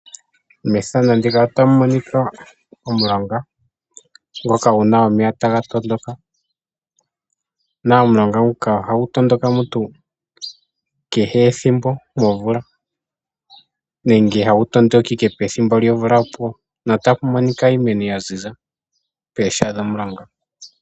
Methano ndika ota mumonika omulonga ngoka nguna omeya taga tondoka, naOmulonga nguka oha gu tondoka mutu kehe ethimbo momvula nenge ha gu tondoka ike pethimbo lyomvula opuwo no tapu monika iimeno yaziza pesha dhomulonga.